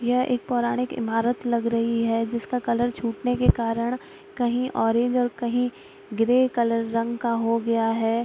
यह एक पारौणिक ईमारत लग रही है जिसका कलर छूटने के कारण कहीं ऑरेंज और कहीं ग्रे कलर रंग का हो गया है।